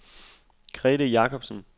Grethe Jakobsen